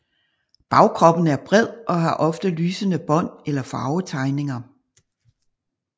Bagkroppen er bred og har ofte lysende bånd eller farvetegninger